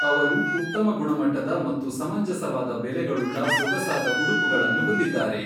ಅವರು ಉತ್ತಮ ಗುಣಮಟ್ಟದ ಮತ್ತು ಸಮಂಜಸವಾದ ಬೆಲೆಗಳುಳ್ಳ ಸೊಗಸಾದ ಉಡುಪುಗಳನ್ನು ಹೊಂದಿದ್ದಾರೆ.